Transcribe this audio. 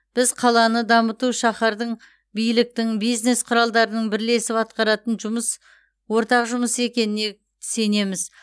біз қаланы дамыту шаһардың биліктің бизнес құралдарының бірлесіп атқаратын жұмыс ортақ жұмысы екеніне сенеміз